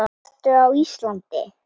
Af hverju ertu á Íslandi?